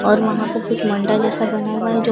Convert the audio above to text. और वहां पर कुछ मंडा जैसा बना हुआ है जो--